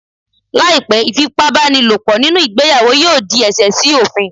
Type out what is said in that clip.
Láì pé, ìfipá bá ni lò pọ̀ nínú ìgbéyàwó yóò di ẹ̀ṣẹ̀ sí òfin.